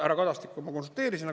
Härra Kadastikuga ma konsulteerisin.